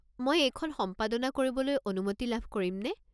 মই এইখন সম্পাদনা কৰিবলৈ অনুমতি লাভ কৰিমনে?